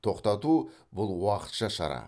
тоқтату бұл уақытша шара